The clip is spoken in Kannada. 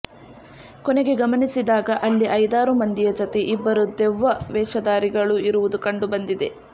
ಕೊನೆಗೆ ಗಮನಿಸಿದಾಗ ಅಲ್ಲಿ ಐದಾರು ಮಂದಿಯ ಜತೆ ಇಬ್ಬರು ದೆವ್ವ ವೇಷಧಾರಿಗಳು ಇರುವುದು ಕಂಡುಬಂದಿದೆ